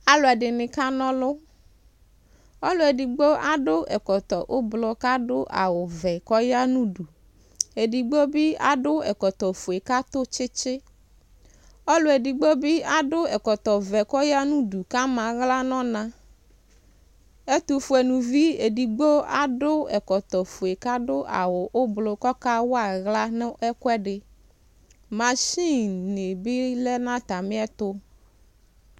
Aaluɛɖini k'anɔlʋƆluʋɖigbo aɖʋ ɛkɔtɔ ʋblɔ k'aɖʋ awu vu, k'ɔya nʋ uɖʋƐɖigbo bi aɖʋ ɛkɔtɔ fue k'aɖʋ tsitsiƆlʋɛɖigbobi aɖʋ ɛkɔtɔ vɛ k'ɔya nʋ ŋɖu k'eyea aɣla nʋ ɔnaƐtʋfue lʋvi ɛɖigbo aɖʋ ɛkɔtɔ fue k'aɖʋ awu ʋblɔk'ɔkawa aɣla nʋ ɛkuɛɖiMachin ni bi lɛ n'atamiɛtʋ